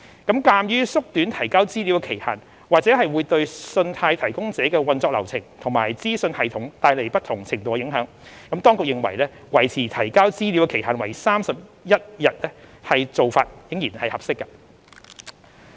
鑒於縮短提交資料的期限或會對信貸提供者的運作流程和資訊系統帶來不同程度的影響，當局認為維持提交資料的期限為31日的做法仍然合適。